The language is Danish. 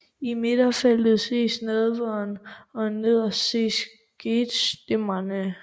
I midterfeltet ses Nadveren og nederst ses Gethsemane